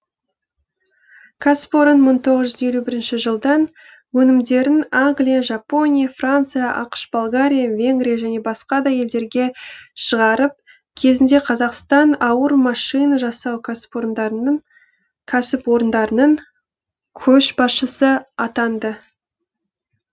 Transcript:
кәсіпорын мың тоғыз жүз елу бірінші жылдан өнімдерін англия жапония франция ақш болгария венгрия және басқа да елдерге шығарып кезінде қазақстан ауыр машина жасау кәсіпорындарының көшбасшысы атанды